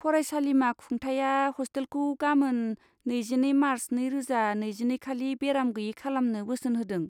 फरायसालिमा खुंथायआ हस्टेलखौ गामोन, नैजिनै मार्च नैरोजा नैजिनैखालि बेराम गैयै खालामनो बोसोन होदों।